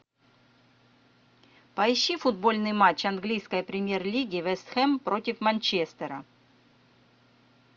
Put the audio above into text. поищи футбольный матч английской премьер лиги вест хэм против манчестера